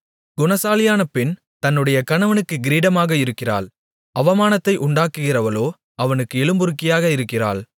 குணசாலியான பெண் தன்னுடைய கணவனுக்கு கிரீடமாக இருக்கிறாள் அவமானத்தை உண்டாக்குகிறவளோ அவனுக்கு எலும்புருக்கியாக இருக்கிறாள்